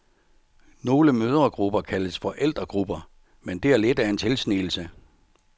Nogle mødregrupper kaldes forældregrupper, men det er lidt af en tilsnigelse.